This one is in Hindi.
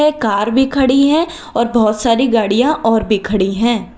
कर भी खड़ी है और बहुत सारी गाड़ियां और भी खड़ी है।